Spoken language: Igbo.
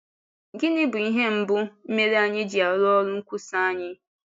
Gịnị bụ ihe mbụ mere anyị ji arụ́ ọ́rụ nkwúsa anyị?